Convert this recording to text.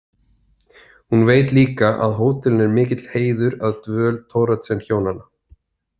Hún veit líka að hótelinu er mikill heiður að dvöl Thoroddsenhjónanna.